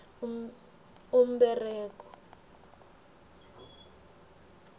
umberego